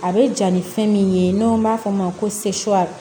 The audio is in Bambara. A bɛ ja ni fɛn min ye n'an b'a fɔ o ma ko